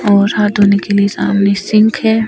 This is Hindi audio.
और हाथ धोने के लिए सामने सिंक है।